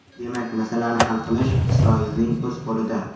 Demak, masalani hal qilish Isroilning o‘z qo‘lida.